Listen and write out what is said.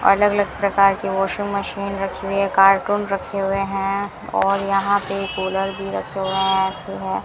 अलग अलग प्रकार की वाशिंग मशीन रखी हुई है कार्टून रखे हुए हैं और यहां पे कूलर भी रखे हुए हैं ऐसे है।